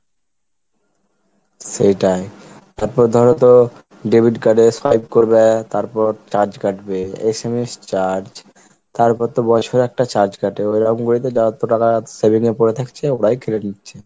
সেটাই তারপর ধরো তো debit card এ swipe করবে তারপর charge কাটবে, SMS charge, তারপর তো বছরে একটা charge কাটে ওইরকম করে তো টাকা saving এ পড়ে থাকছে ওরাই কেটে নিচ্ছে।